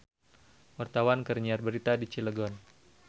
Wartawan keur nyiar berita di Cilegon